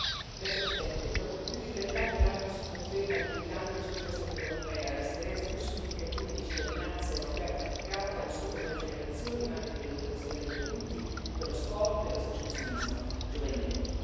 Signora Presidente, onorevoli colleghi, dopo più di trent'anni, Erasmus si conferma il più grande successo dell'Unione europea, l'esperienza più significativa di cittadinanza europea praticata, non solo per le nuove generazioni, ma anche per l'educazione degli adulti, per lo sport e l'associazionismo giovanile.